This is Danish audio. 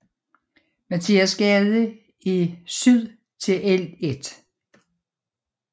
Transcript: Mathias Gade i syd til Ll